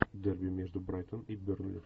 дерби между брайтон и бернли